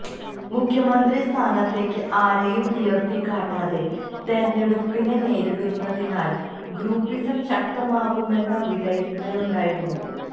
മുഖ്യമന്ത്രി സ്ഥാനത്തേക്ക് ആരെയും ഉയര്ത്തിക്കാട്ടാതെ തെരഞ്ഞെടുപ്പിനെ നേരിടുന്നതിനാല് ഗ്രൂപ്പിസം ശക്തമാകുമെന്ന വിലയിരുത്തലുണ്ടായിരുന്നു